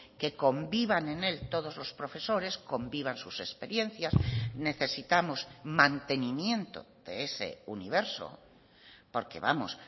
que convivan en él todos los profesores convivan sus experiencias necesitamos mantenimiento de ese universo porque vamos